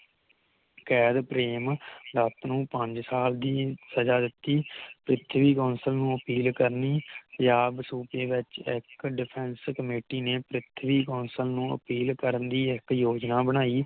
ਕੈਦ ਪ੍ਰੇਮਦੱਤ ਨੂੰ ਪੰਜ ਸਾਲ ਦੀ ਸਜ਼ਾ ਦਿਤੀ ਪ੍ਰਿਥਵੀ ਗੋਸਲ ਨੂੰ ਅਪੀਲ ਕਰਨੀ ਪੰਜਾਬ ਸੂਚੀ ਵਿਚ ਇਕ Defence Comity ਨੇ ਪ੍ਰਿਥਵੀ ਗੋਸਲ ਨੂੰ ਅਪੀਲ ਕਰਨ ਦੀ ਇਕ ਯੋਜਨਾ ਬਣਾਈ